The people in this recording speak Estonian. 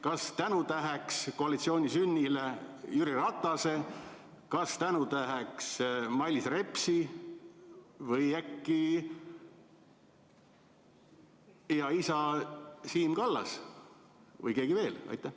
Kas tänutäheks koalitsiooni sünni eest Jüri Ratase või Mailis Repsi või äkki teie isa Siim Kallase või kellegi teise?